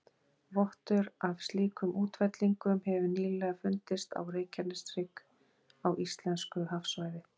Vottur af slíkum útfellingum hefur nýlega fundist á Reykjaneshrygg á íslensku hafsvæði.